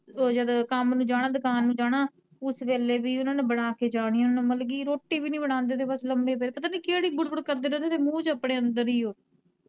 ਉਹ ਜਦੋਂ ਕੰਮ ਨੂੰ ਜਾਣਾ, ਦੁਕਾਨ ਨੂੰ ਜਾਣਾ, ਓਸ ਵੇਲੇ ਵੀ ਉਨਾਂ ਨੇ ਬਣਾ ਕੇ ਜਾਣੀਆ, ਮਤਲਬ ਕੀ ਰੋਟੀ ਵੀ ਨੀ ਬਣਾਂਦੇ ਥੇ ਬੱਸ ਲੰਮੇ ਪਏ ਰਹਿੰਦੇ, ਪਤਾ ਨੀ ਕਿਹੜੀ ਬੁੜਬੁੜ ਕਰਦੇ ਰਹਿੰਦੇ ਥੇ ਮੂੰਹ ਚ ਆਪਣੇ ਅੰਦਰ ਈ ਓ।